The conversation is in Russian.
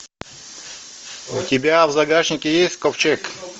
у тебя в загашнике есть ковчег